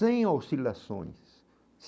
Sem oscilações.